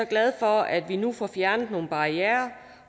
glad for at vi nu får fjernet nogle barrierer